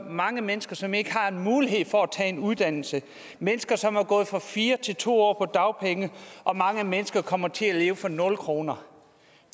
mange mennesker som ikke har en mulighed for at tage en uddannelse mennesker som er gået fra fire til to år på dagpenge og mange mennesker kommer til at leve for nul kroner